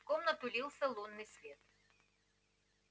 в комнату лился лунный свет